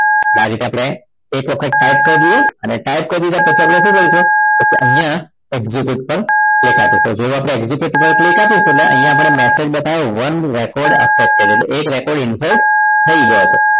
તો આ રીતે આપણે એક વખત type કરી દઈએ અને type કરી દીધા પછી આપણે શું કરીશું તો અહીંયા exit ઉપર click આપીશું જેવું exit ઉપર click આપીશું એટલે અહીંયા આપણે message બતાવી one record affected એટલે એક record insert થઈ ગયો છે